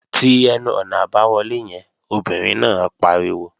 Ti ẹnu-ọ̀nà àbáwọlé yẹn, obìnrin náà pariwo!